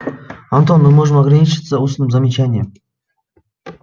антон мы можем ограничиться устным замечанием